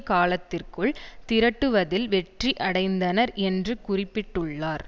காலத்திற்குள் திரட்டுவதில் வெற்றி அடைந்தனர் என்று குறிப்பிட்டுள்ளார்